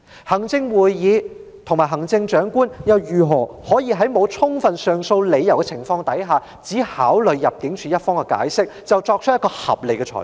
行政會議和行政長官又如何在沒有充分上訴理由的情況下，只考慮入境事務處的解釋便作出合理裁決？